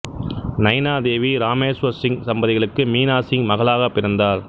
நைனா தேவி இராமேசுவர் சிங் தம்பதிகளுக்கு மீனாசிங் மகளாகப் பிறந்தார்